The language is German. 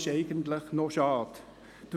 Das ist schade.